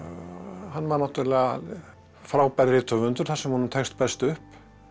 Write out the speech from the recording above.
hann var náttúrulega frábær rithöfundur þar sem honum tekst best upp